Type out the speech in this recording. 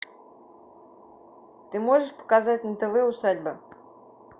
ты можешь показать на тв усадьба